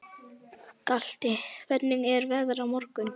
Galti, hvernig er veðrið á morgun?